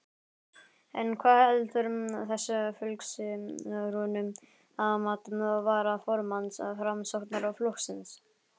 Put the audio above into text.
En hvað veldur þessu fylgishruni að mati varaformanns Framsóknarflokksins?